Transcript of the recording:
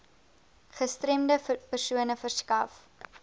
gestremde persone verskaf